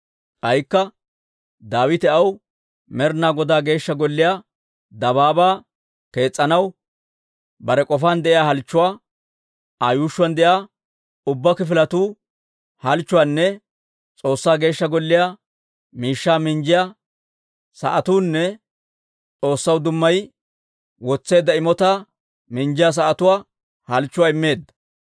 K'aykka Daawite aw Med'inaa Godaa Geeshsha Golliyaa dabaabaa kees's'anaw bare k'ofaan de'iyaa halchchuwaa, Aa yuushshuwaan de'iyaa ubbaa kifiletuu halchchuwaanne S'oossaa Geeshsha Golliyaa miishshaa minjjiyaa sa'atuunne S'oossaw dummayi wotseedda imotaa minjjiyaa sa'atuu halchchuwaa immeedda.